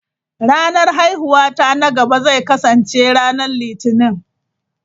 Ranar haihuwata na gaba zai kasance ranar Litinin.